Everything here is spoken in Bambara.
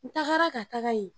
N tagara ka taga yen.